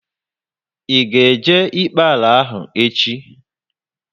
Ị ga e jee ikpe ala ahu echi?